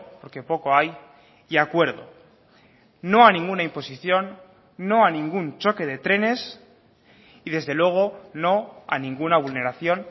porque poco hay y acuerdo no a ninguna imposición no a ningún choque de trenes y desde luego no a ninguna vulneración